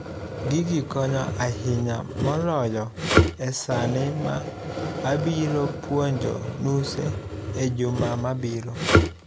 Gigi konyo ahinya moloyo esani ma abiro puonjo nuse ejuma mabiro.